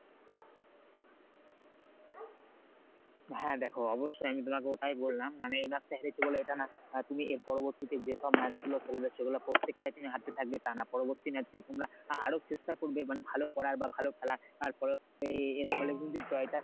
হ্যাঁ দেখো অবশ্যই আমি তোমাকে ওটাই বললাম মানে এই match টা হেরেছো বলে এটা না অ্যাঁ তুমি এর পরবর্তীতে যে সব match গুলো খেলবে সেগুলো প্রত্যেকটাই তুমি হারতে থাকবে তা না , পরবর্তী match গুলো তোমরা আরো চেষ্টা করবে মানে ভালো করার বা ভালো খেলার এর ফলে কিন্তু জয়টা